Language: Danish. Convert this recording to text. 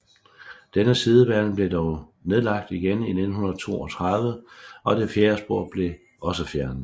Denne sidebane blev dog nedlagt igen i 1932 og det fjerde spor blev også fjernet